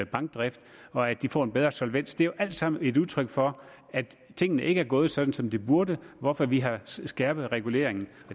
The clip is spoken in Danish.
bankdrift og at de får en bedre solvens det er jo alt sammen et udtryk for at tingene ikke er gået sådan som de burde hvorfor vi har skærpet reguleringen